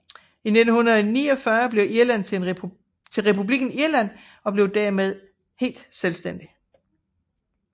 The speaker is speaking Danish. I 1949 blev Irland til republikken Irland og blev dermed helt selvstændig